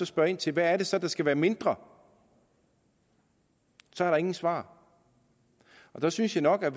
spørger ind til hvad det så er der skal være mindre er der ingen svar der synes jeg nok at